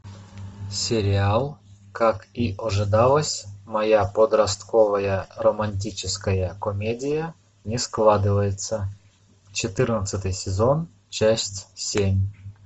сериал как и ожидалось моя подростковая романтическая комедия не складывается четырнадцатый сезон часть семь